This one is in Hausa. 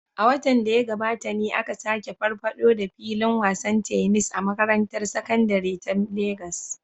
A watan da ya gabata ne aka sake farfaɗo da filin wasan tennis a makarantar sakandare ta Legas